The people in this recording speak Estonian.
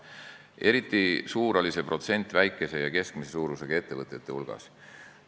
Eriti suur oli see protsent väikese ja keskmise suurusega ettevõtete hulgas.